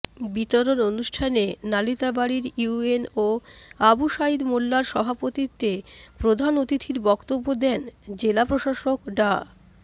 বিতরণ অনুষ্ঠানে নালিতাবাড়ীর ইউএনও আবু সাঈদ মোল্লার সভাপতিত্বে প্রধান অতিথির বক্তব্য দেন জেলা প্রশাসক ডা